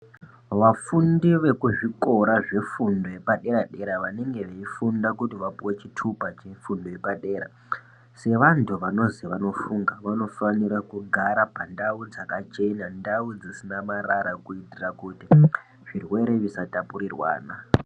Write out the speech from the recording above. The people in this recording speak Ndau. Vafundi vekuzvikora zvefundo yepadera dera vanenge veifunda kuti vapuwe chitupa chefundo yepadera, sevantu vanozi vanofunga vanofanira kugara pandau dzakachena ndau dzisina marara kuitira kuti zvirwere zvisa tapurirwana .